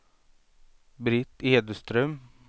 Britt Edström